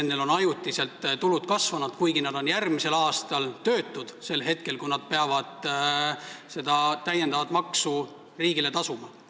Neil on ajutiselt tulud kasvanud, kuigi nad on töötud järgmisel aastal sel hetkel, kui nad peavad riigile täiendavat maksu tasuma.